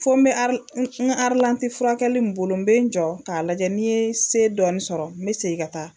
Fɔ n bɛ furakɛli in bolo bɛ n jɔ k'a lajɛ ni ye se dɔɔni sɔrɔ n bɛ segin ka taa